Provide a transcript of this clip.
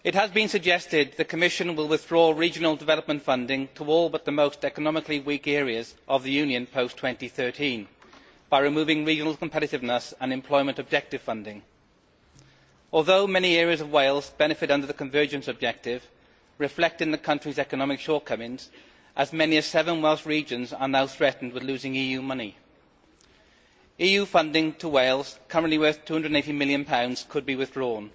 Mr President, it has been suggested that the Commission will withdraw regional development funding to all but the most economically weak areas of the Union post 2013 by removing Regional Competitiveness and Employment Objective funding. Although many areas of Wales benefit under the Convergence Objective, reflecting the country's economic shortcomings, as many as seven Welsh regions are now threatened with losing EU money. EU funding to Wales, currently worth GBP 280 million, could be withdrawn.